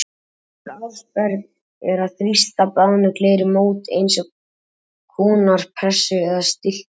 Önnur aðferð er að þrýsta bráðnu gleri í mót með eins konar pressu eða stimpli.